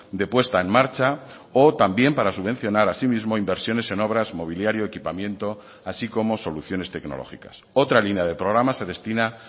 de puesta en marcha o también para subvencionar asimismo inversiones en obras mobiliario equipamiento así como soluciones tecnológicas otra línea de programa se destina